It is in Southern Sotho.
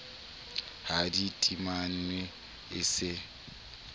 ha di timanwe e se